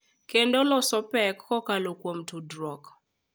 Kendo loso pek kokalo kuom tudruok.